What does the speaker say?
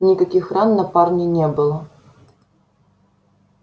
никаких ран на парне не было